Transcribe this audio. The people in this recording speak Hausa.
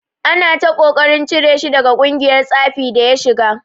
Ana ta ƙoƙarin cire shi daga ƙungiyar tsafin da ya shiga.